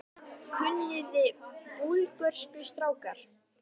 Kunniði Búlgörsku strákar?